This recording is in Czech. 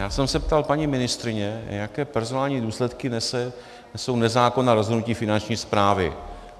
Já jsem se ptal paní ministryně, jaké personální důsledky nesou nezákonná rozhodnutí Finanční správy.